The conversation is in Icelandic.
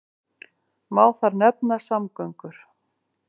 Má þar nefna samgöngur.